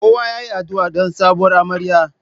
Kowa yayi adu'a don sabuwar amarya.